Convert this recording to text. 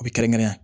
U bɛ kɛrɛnkɛrɛn